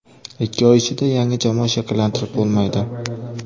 Ikki oy ichida yangi jamoa shakllantirib bo‘lmaydi.